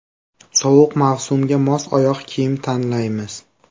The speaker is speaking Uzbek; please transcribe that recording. Sovuq mavsumga mos oyoq kiyim tanlaymiz.